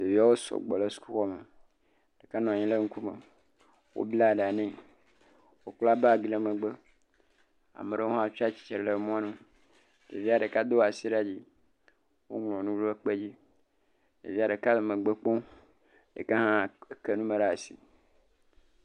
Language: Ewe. Ɖeviawo sɔgbɔ le suku xɔ me. Enɔ anyi ɖe ŋku me, wobla ɖa ne. Wokpla bagi ɖe megbe. Ame aɖewo hã tsia tsitre ɖe mɔ nu, ɖevia ɖeka do asi ɖe dzi. Woŋlɔ nu ɖe kpe dzi. ɖevia ɖeka le megbe kpɔ, ɖeka hã ke nu me ɖe asi.